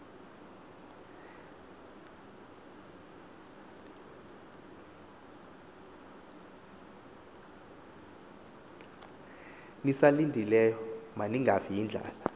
nisalindileyo maningafi yindlala